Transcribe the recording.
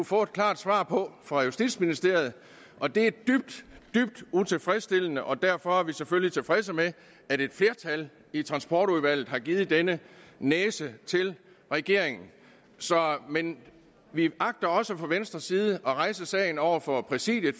få et klart svar på fra justitsministeriet og det er dybt dybt utilfredsstillende og derfor er vi selvfølgelig tilfredse med at et flertal i transportudvalget har givet denne næse til regeringen men vi agter også fra venstres side at rejse sagen over for præsidiet